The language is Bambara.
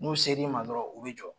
N'u seri ma dɔrɔn u bɛ jɔ.